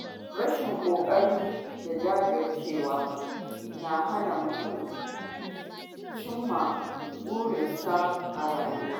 Rashin ƙoƙari da jajircewa na hana mutum cimma burinsa a rayuwa.